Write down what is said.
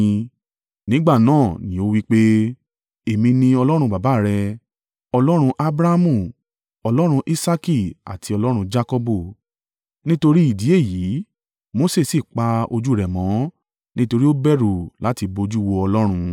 Nígbà náà ní ó wí pé, “Èmi ni Ọlọ́run baba rẹ, Ọlọ́run Abrahamu, Ọlọ́run Isaaki àti Ọlọ́run Jakọbu.” Nítorí ìdí èyí, Mose sì pa ojú rẹ̀ mọ́, nítorí ó bẹ̀rù láti bojú wo Ọlọ́run.